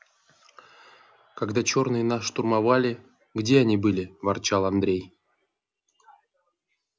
когда чёрные нас штурмовали где они были ворчал андрей